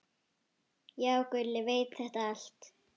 Já, Gulli veit þetta allt.